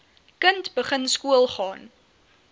kind begin skoolgaan